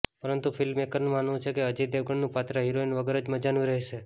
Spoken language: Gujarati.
પરંતુ ફિલ્મ મેકરનું માનવું છે કે અજય દેવગણનું પાત્ર હીરોઈન વગર જ મજાનું રહેશે